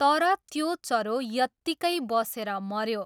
तर त्यो चरो यत्तिकै बसेर मऱ्यो।